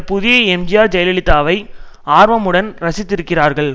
புதிய எம்ஜிஆர் ஜெயலலிதாவை ஆர்வமுடன் ரசித்திருக்கிறார்கள்